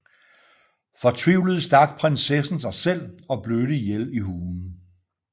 Fortvivlet stak prinsessen sig selv og blødte ihjel i hulen